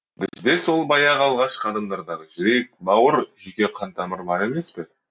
бізде сол баяғы алғашқы адамдардағы жүрек бауыр жүйке қантамыры бар емес пе